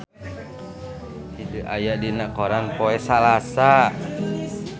Hyde aya dina koran poe Salasa